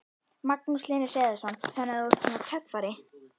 Magnús Hlynur Hreiðarsson: Þannig þú ert svona töffari?